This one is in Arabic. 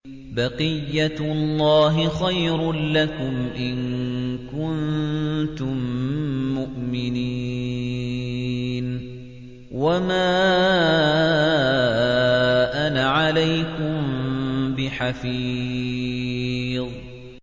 بَقِيَّتُ اللَّهِ خَيْرٌ لَّكُمْ إِن كُنتُم مُّؤْمِنِينَ ۚ وَمَا أَنَا عَلَيْكُم بِحَفِيظٍ